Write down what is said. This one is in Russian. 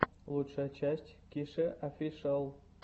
лучшая часть кишеофишиал